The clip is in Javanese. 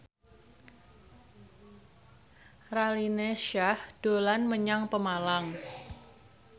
Raline Shah dolan menyang Pemalang